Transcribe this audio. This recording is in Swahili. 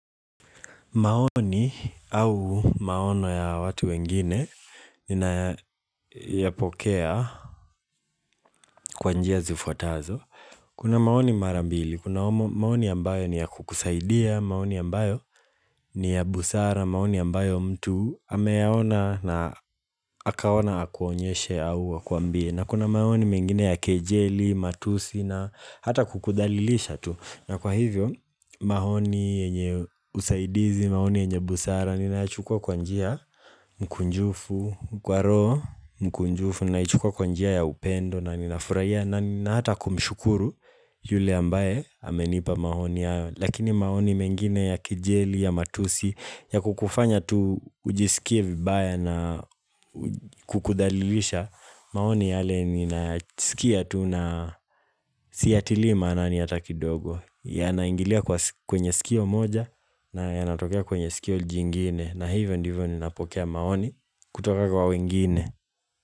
Maoni au maono ya watu wengine ninayapokea kwanjia zifuatazo. Kuna maoni marambili, kuna maoni ambayo ni ya kukusaidia, maoni ambayo ni ya busara, maoni ambayo mtu ameyaona na akaona hakuonyeshe au akuambie. Na kuna maoni mengine ya kejeli, matusi na hata kukudhalilisha tu na kwa hivyo, maoni enye usaidizi, maoni enye busara Nina chukua kwanjia mkunjufu, kwaro mkunjufu Nina chukua kwanjia ya upendo na ninafuraia na hata kumshukuru yule ambaye amenipa maoni ya Lakini maoni mengine ya kejeli, ya matusi ya kukufanya tu ujisikie vibaya na kukudhalilisha maoni yale ni nasikia tuna siya tilima na niyata kidogo ya naingilia kwenye sikio moja na ya natokea kwenye sikio jingine na hivyo ndivyo ni napokea maoni kutoka kwa wengine.